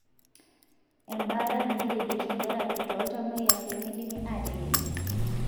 embaata naaji radiation therapy toltamoyiak lemidimi ateyieng.